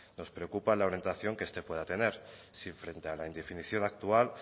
nos preocupa la orientación que este pueda tener si frente a la indefinición actual